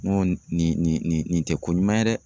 N ko nin nin nin tɛ ko ɲuman ye dɛ.